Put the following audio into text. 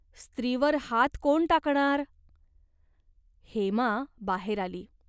स्त्रीवर हात कोण टाकणार? हेमा बाहेर आली.